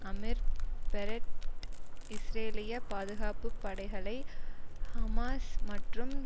Amir Peretz இஸ்ரேலிய பாதுகாப்பு படைகளை ஹமாஸ் மற்றும்